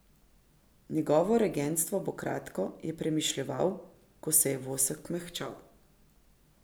Njegovo regentstvo bo kratko, je premišljeval, ko se je vosek mehčal.